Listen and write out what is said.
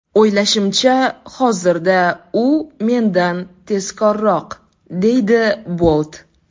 O‘ylashimcha, hozirda u mendan tezkorroq”, deydi Bolt.